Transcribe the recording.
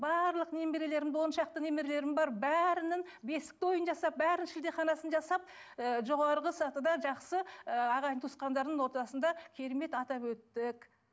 барлық немерелерімді он шақты немерелерім бар бәрінің бесік тойын жасап бәрінің шілдеханасын жасап ы жоғарғы сатыда жақсы ы ағайын туысқандардың ортасында керемет атап өттік